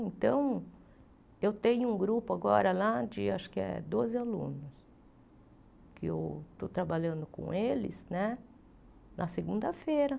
Então, eu tenho um grupo agora lá de, acho que é doze alunos, que eu estou trabalhando com eles né na segunda-feira.